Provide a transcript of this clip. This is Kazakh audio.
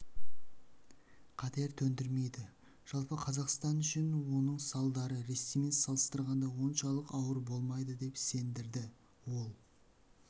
қатер төндірмейді жалпы қазақстан үшін оның салдары ресеймен салыстырғанда соншалық ауыр болмайды деп сендірді ол